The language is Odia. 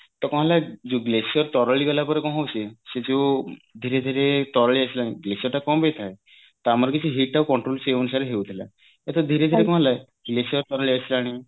ତ କଣ ହେଲା ଯୋଉ glossier ତରଳି ଗଲା ପରେ କଣ ହଉଛି ନା ସେ ଯୋଉ ଧୀରେ ଧୀରେ ତରଳି ଆସିଲାଣି glossier ଟା କଣ ପାଇଁ ଥାଏ ତ ଆମର କିଛି heat ଆଉ control ସେଇ ଅନୁସାରେ ହାଉଥିଲା ଏବେ ଧୀରେ ଧୀରେ କଣ ହେଲା glossier ତରଳି ଆସିଲାଣି